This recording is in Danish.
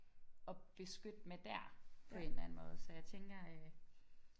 Og beskytte med der på en eller anden måde så jeg tænker øh